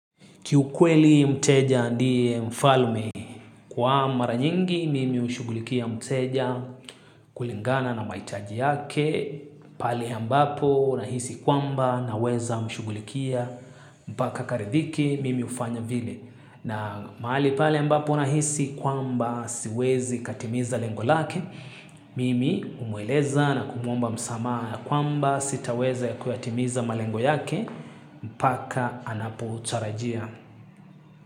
Kiukweli mteja ndiye mfalme, kwa maranyingi mimi hushugulikia mteja kulingana na mahitaji yake, pale ambapo nahisi kwamba na weza mshugulikia mpaka karidhiki mimi hufanya vile. Na mahali pale ya ambapo nahisi kwamba siwezi katimiza lengolake, mimi humweleza na kumwomba msamaha kwamba sitaweza ya kuyatimiza malengo yake mpaka anapu chatarajia.